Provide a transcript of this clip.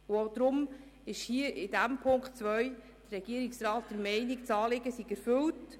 Auch deshalb ist der Regierungsrat bezüglich Punkt 2 der Meinung, das Anliegen sei erfüllt.